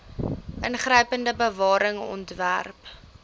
ingrypende bewaring ontwerp